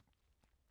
TV 2